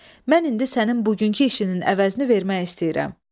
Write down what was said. Mən indi sənin bugünkü işinin əvəzini vermək istəyirəm.